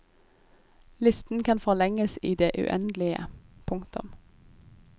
Listen kan forlenges i det uendelige. punktum